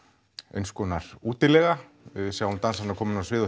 eins konar útilega við sjáum dansarana koma inn á svið og